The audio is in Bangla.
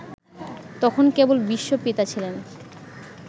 তখন কেবল বিশ্ব-পিতা ছিলেন